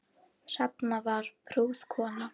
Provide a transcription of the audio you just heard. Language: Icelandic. Hrefna var prúð kona.